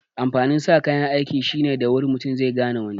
Amfanin sa kayan aiki shine da wuri mutu zai gane wani